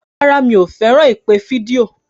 Rárá, mi ò fẹ́ràn ìpè fídíò.